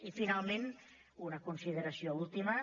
i finalment una consideració última